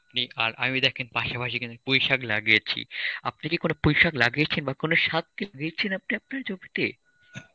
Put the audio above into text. আপনি আর আমি দেখেন পাশাপাশি কিন্তু পুঁই শাক লাগিয়েছি. আপনি কি কোন পুইশাক লাগিয়েছেন বা কোন সার কি দিয়েছেন আপনি আপনার জমিতে?